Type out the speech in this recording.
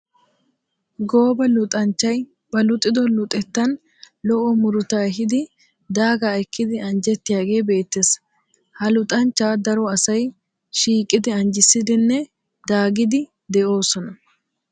Gooba luxxanchchay ba luxxido luxxettan lo'o muruta ehiidi daagaa ekkidi anjjettiyaaga beettees. Ha luxxanchcha daro asay shiiqidi anjjissidenne daagidde de'osona.